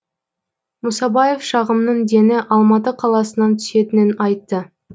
мұсабаев шағымның дені алматы қаласынан түсетінін айтты